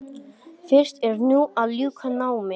Fyrst er nú að ljúka námi.